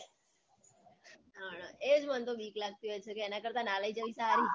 એ જ મન તો બીક લાગતી હોય છે એના કરતા ના લઇ જવી સારી